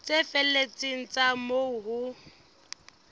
tse felletseng tsa moo ho